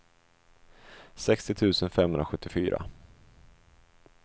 sextio tusen femhundrasjuttiofyra